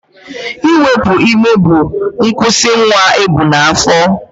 Iwepu ime bụ nkwụsị nwa ebu n'afọ